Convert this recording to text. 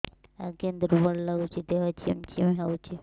ଆଜ୍ଞା ଦୁର୍ବଳ ଲାଗୁଚି ଦେହ ଝିମଝିମ ହଉଛି